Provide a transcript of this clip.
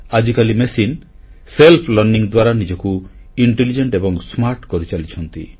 ଆଜିକାଲି ମେସିନ୍ ଆତ୍ମଅଧ୍ୟୟନ ଦ୍ୱାରା ନିଜକୁ ବୁଦ୍ଧିମାନ ଏବଂ ସ୍ମାର୍ଟ କରିଚାଲିଛନ୍ତି